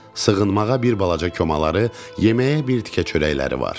Sığınmağa bir balaca komaları, yeməyə bir tikə çörəkləri var.